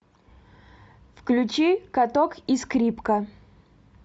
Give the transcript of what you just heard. включи каток и скрипка